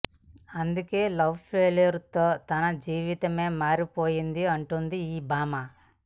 అందుకే love failure తో తన జీవితమే మారిపోయింది అంటుంది ఈ భామ